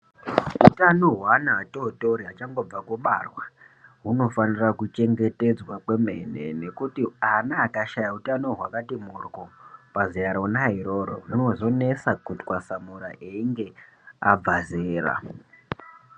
Utano hweana atotori achangobva kubarwa hunofana kuchengetedzwa kwemene ngekuti ana akashaya utano hwakati mboryo pazera rona iroro zvinozonesa kutwasamura einge abva zera.